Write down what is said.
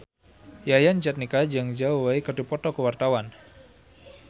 Yayan Jatnika jeung Zhao Wei keur dipoto ku wartawan